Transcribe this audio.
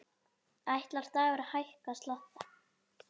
Ætlar Dagur að hækka skatta?